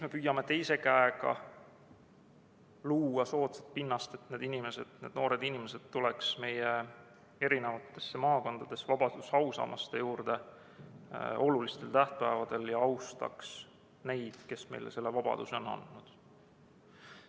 Me püüame teise käega luua soodsat pinnast, et need inimesed, need noored inimesed, tuleks olulistel tähtpäevadel meie maakondades vabaduse ausammaste juurde ja austaks neid, kes meile selle vabaduse on andnud.